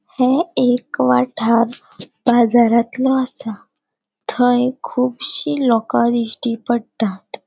ये एक वाठार बाजरांतलों असा थंय कूबशी लोका दिश्टी पट्टात.